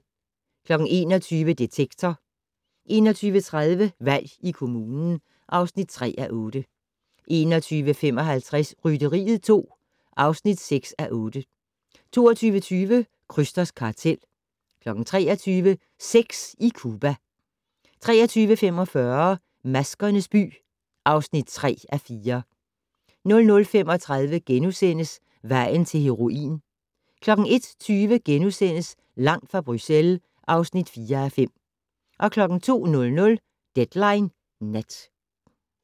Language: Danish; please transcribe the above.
21:00: Detektor 21:30: Valg i kommunen (3:8) 21:55: Rytteriet 2 (6:8) 22:20: Krysters kartel 23:00: Sex i Cuba 23:45: Maskernes by (3:4) 00:35: Vejen til heroin * 01:20: Langt fra Bruxelles (4:5)* 02:00: Deadline Nat